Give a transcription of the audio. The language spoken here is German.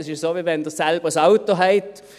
Das ist, wie wenn Sie selbst ein Auto haben.